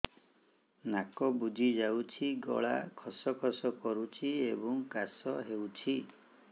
ନାକ ବୁଜି ଯାଉଛି ଗଳା ଖସ ଖସ କରୁଛି ଏବଂ କାଶ ହେଉଛି